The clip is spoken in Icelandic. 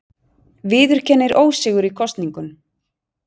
Viðurkennir ósigur í kosningunum